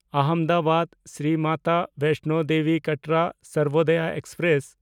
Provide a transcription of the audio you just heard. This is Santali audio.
ᱟᱦᱚᱢᱫᱟᱵᱟᱫ–ᱥᱨᱤ ᱢᱟᱛᱟ ᱵᱮᱭᱥᱱᱚ ᱫᱮᱵᱤ ᱠᱟᱴᱨᱟ ᱥᱟᱨᱵᱳᱫᱚᱭᱟ ᱮᱠᱥᱯᱨᱮᱥ